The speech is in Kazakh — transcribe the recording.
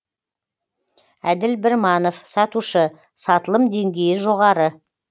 әділ бірманов сатушы сатылым деңгейі жоғары